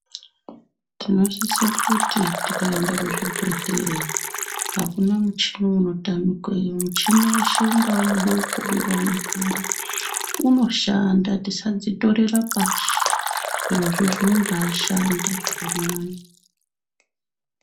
Tinosise kuti tikaenda kuzvibhehleya akuna muchini unotamikeyo ,michini yeshe ungamudoko ungamukuru unoshanda tisadzitorera pashi zvirozvo zvinombaashanda zvakanyanya.